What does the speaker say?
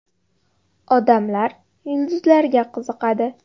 Odamlar yulduzlarga qiziqadi.